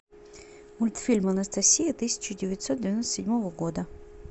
мультфильм анастасия тысяча девятьсот девяносто седьмого года